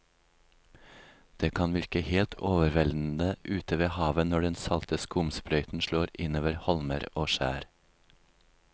Det kan virke helt overveldende ute ved havet når den salte skumsprøyten slår innover holmer og skjær.